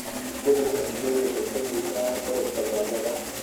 Isbeddelka cimiladu waxay keenaysaa korodhka gaajada.